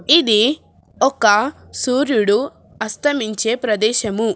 ఇది ఒక సూర్యుడు అస్తమించే ప్రదేశము.